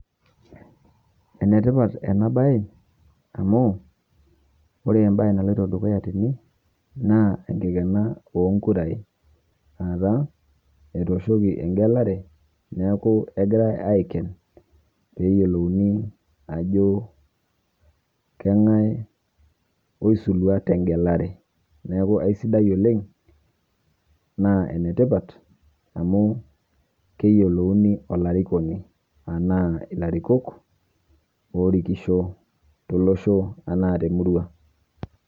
Ene tipat ena baye amu ore embaye naloito dukuya tene naa enkikena oo nkurai aata etooshoki eng'elare neeku egirai aiken peeyolouni ajo kang'ai oisulua te ng'elare. Neeku aisidai oleng' naa ene tipat amu keyolouni olarikoni anaa ilarikok oorikisho tolosho anaa te murua.